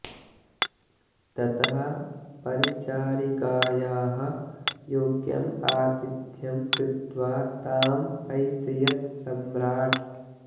ततः परिचारिकायाः योग्यम् आतिथ्यं कृत्वा तां प्रैषयत् सम्राट्